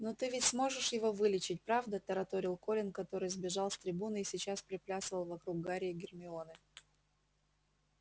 но ты ведь сможешь его вылечить правда тараторил колин который сбежал с трибуны и сейчас приплясывал вокруг гарри и гермионы